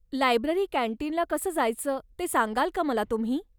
Library कॅन्टीनला कसं जायचं ते सांगाल का मला तुम्ही?